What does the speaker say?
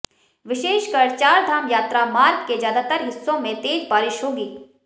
विशेषकर चारधाम यात्रा मार्ग के ज्यादातर हिस्सों में तेज बारिश होगी